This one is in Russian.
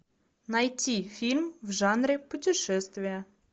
найти фильм в жанре путешествие